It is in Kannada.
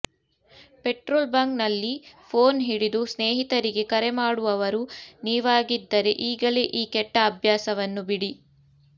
ಪೆಟ್ರೋಲ್ ಬಂಕ್ ನಲ್ಲಿ ಫೋನ್ ಹಿಡಿದು ಸ್ನೇಹಿತರಿಗೆ ಕರೆ ಮಾಡುವವರು ನೀವಾಗಿದ್ದರೆ ಈಗಲೇ ಈ ಕೆಟ್ಟ ಅಭ್ಯಾಸವನ್ನು ಬಿಡಿ